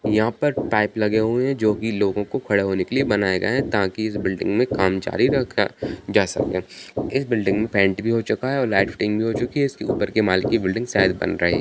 यहाँ पर पाइप लगे हुए हैं जो की लोगों को खड़ा होने के लिए बनाए गए है ताकि इस बिल्डिंग में काम जारी रखा जा सके इस बिल्डिंग में पेंट भी हो चूका है और लाईट फिटिंग भी हो चुकी है इसके ऊपर के माल के बिल्डिंग शायद बन रहे--